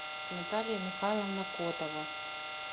наталья михайловна котова